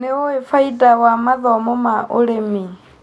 Nĩũĩ bainda wa mathomo ma ũrĩmi.